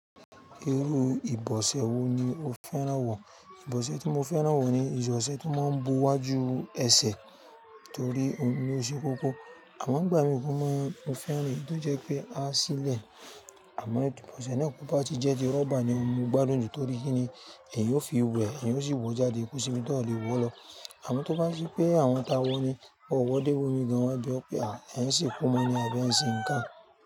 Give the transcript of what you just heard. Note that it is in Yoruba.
Irú ìbọ̀sẹ̀ wo ni o fẹ́ràn wọ̀? Ìbọ̀sẹ̀ tí mo fẹ́ràn wọ̀ ni ìbọ̀sẹ̀ tó máa ń bu iwájú ẹsẹ̀ torí ó ń ṣe lo kókó. Amo ngbà mí mó máa ń fẹ́ràn èyí tó jẹ́ pé a sílẹ̀. Àmọ́ ìbọ̀sẹ̀ náà kó bá ti jẹ́ ti rọ́bà ni oun mo gbádùn torí kíni? Eeyan o fi wẹ eeyan o sì wọ jáde ko si ibi to lè wọ lọ. Àmọ́ tó bá ṣí pé àwọn tá wọ ní ọwọ́ dé wò mí gan, wọ́n jẹ́ pé à ẹ́ ń ṣe ikú mọ́ ni àbí ẹ ń ṣe nǹkan.